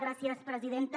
gràcies presidenta